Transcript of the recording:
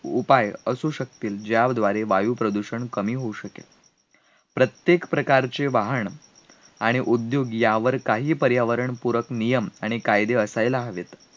उपाय असू शकतील, ज्याद्वारे वायुप्रदूषण कमी होऊ शकेल प्रत्येक प्रकारचे वाहन आणि उद्योग यावर काही पर्यावरण पूरक नियम आणि कायदे व्हायला हवेत